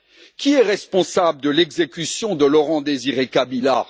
Qui est responsable de l'exécution de Laurent Désiré Kabila?